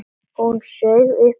Hún saug upp í nefið.